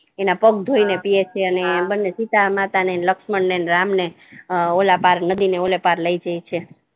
એમના પગ ધોઈને પીએ છે બન્ને સીતામાતા ને લક્ષ્મણ ને રામ ને ઓલાપાર નદી ને ઓલાપાર લઈ જાય઼ છે